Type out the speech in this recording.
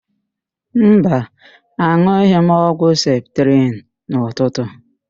Mba, an̄ụghị m ọgwụ septrịn n'ụtụtụ.